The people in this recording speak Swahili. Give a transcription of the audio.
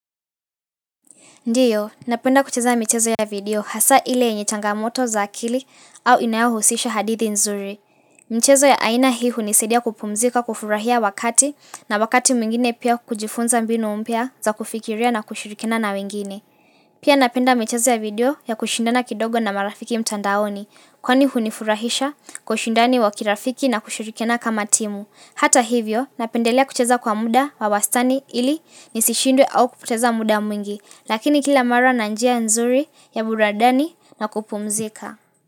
Ndiyo, napenda kucheza michezo ya video hasa ile yenye changamoto za akili au inayohusisha hadithi nzuri. Mchezo ya aina hii hunisaidia kupumzika kufurahia wakati na wakati mwingine pia kujifunza mbinu mpya za kufikiria na kushirikiana na wengine. Pia napenda michezo ya video ya kushindana kidogo na marafiki mtandaoni kwani hunifurahisha kwa ushindani wa kirafiki na kushirikiana kama timu. Hata hivyo, napendelea kucheza kwa muda wa wastani ili nisishindwe au kupoteza muda mwingi. Lakini kila mara na njia nzuri ya burudani na kupumzika.